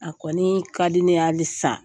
A kɔni ka di ne ye hali san.